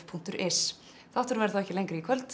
punktur is þátturinn verður þá ekki lengri í kvöld